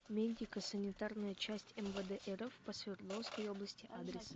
медико санитарная часть мвд рф по свердловской области адрес